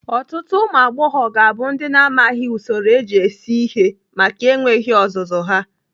Ọtụtụ ụmụagbọghọbịa ga-abụ ndị na-amaghị usoro eji esi ihe maka enweghị ọzụzụ ya.